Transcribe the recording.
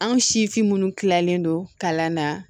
Anw sifin minnu kilalen don kalan na